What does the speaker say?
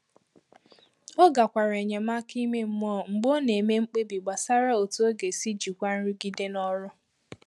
Ọ gakwara enyemaka ime mmụọ mgbe ọ na-eme mkpebi gbasàrà otu ọ ga-esi jikwaa nrụgide n’ọrụ